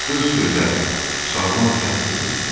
Qız gözəl, sağlam kənd qızı idi.